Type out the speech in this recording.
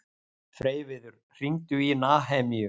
Freyviður, hringdu í Nahemíu.